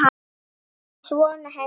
Það er svona henni líkt.